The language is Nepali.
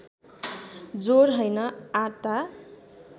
ज्वर हैन आता